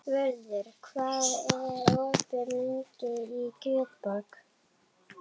Vörður, hvað er opið lengi í Kjötborg?